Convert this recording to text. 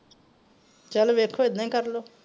ਚਲੋ ਵੇਖੋ ਇੱਦਾਂ ਈ ਕਰਲੋ।